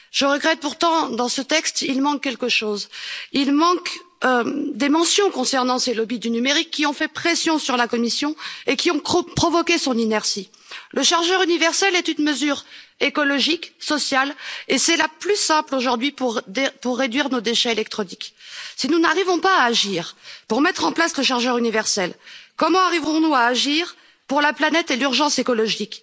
Je regrette pourtant que, dans ce texte, il manque quelque chose. Il manque des mentions concernant ces lobbys du numérique, qui ont fait pression sur la Commission et qui ont provoqué son inertie. Le chargeur universel est une mesure écologique, sociale et c'est la plus simple aujourd'hui pour réduire nos déchets électroniques. Si nous n'arrivons pas à agir pour mettre en place le chargeur universel, comment arriverons-nous à agir pour la planète et l'urgence écologique?